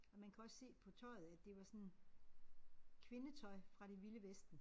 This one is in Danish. Og man kan også se på tøjet at det var sådan kvindetøj fra det vilde vesten